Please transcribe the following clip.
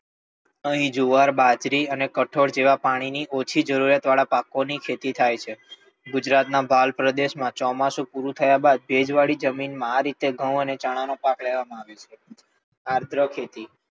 આહી જુવાર, બાજરી અને કઠોળ જેવા ઓછા પાણી વાળા પાકો ની ખેતી થાય છે. ગુજરાત ના ભાલ પ્રદેશ માં ચોમાસું પૂરું થાય બાદ ભેજ વાળી જમીન માં આજ રીતે ઘઉ અને ચણા નો પાક લેવામાં આવે છે. આદ્ર ખેતી,